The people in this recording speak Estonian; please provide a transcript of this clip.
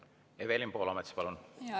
Evelin Poolamets, palun!